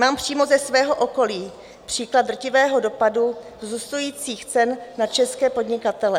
Mám přímo ze svého okolí příklad drtivého dopadu vzrůstajících cen na české podnikatele.